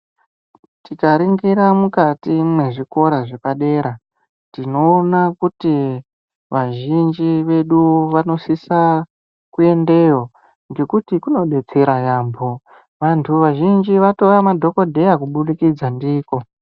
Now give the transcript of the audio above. Tika ningiri mukati me zvikora zvepa dera tinoona kuti vazhinji vedu vano sisa ku endeyo ngekuti kuno detsera yambo vantu vazhinji vato ma dhokoteya kubudikidza ndiko.